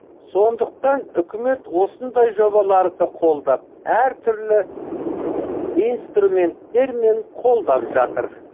сондықтан үкімет осындай жобаларды қолдап әр түрлі инстирументтермен қолдап жатыр